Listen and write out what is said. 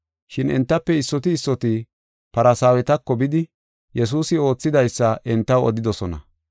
Shin entafe issoti issoti Farsaawetako bidi Yesuusi oothidaysa entaw odidosona.